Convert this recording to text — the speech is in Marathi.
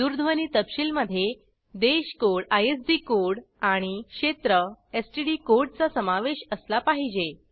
दूरध्वनी तपशील मध्ये देश कोड आयएसडी कोड आणि क्षेत्र एसटीडी कोड चा समावेश असला पाहिजे